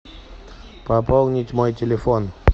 пополнить мой телефон